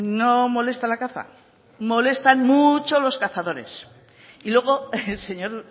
no molesta la caza molestan mucho los cazadores y luego señor